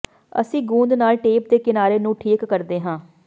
ਅਸੀਂ ਗੂੰਦ ਨਾਲ ਟੇਪ ਦੇ ਕਿਨਾਰੇ ਨੂੰ ਠੀਕ ਕਰਦੇ ਹਾਂ